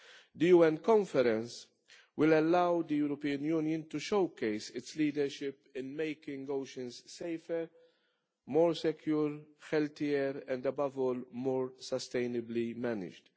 The UN conference will allow the European Union to showcase its leadership in making oceans safer, more secure, healthier, and above all, more sustainably managed.